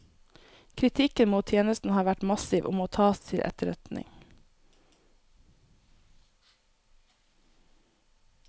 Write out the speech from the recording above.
Kritikken mot tjenesten har vært massiv og må tas til etterretning.